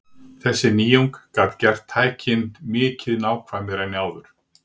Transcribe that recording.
Þessi nýjung gat gert tækin mikið nákvæmari en áður.